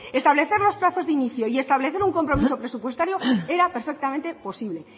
establecer los plazos de inicio y establecer un compromiso presupuestario era perfectamente posible